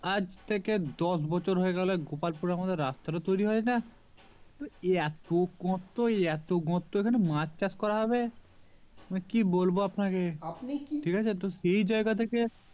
আজ থেকে দশ বছর হয়ে গেল গোপালপুর এখন রাস্তা টো তৈরি হয়না এত গর্ত এ এত গর্ত এখানে মাছ চাষ করা হবে কি বলবো আপনাকে তো সে জায়গা থেকে